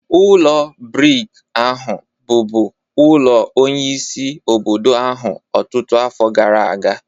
Ụlọ brik ahụ bụbu ulo onyeisi obodo ahụ ọtụtụ afọ gara aga.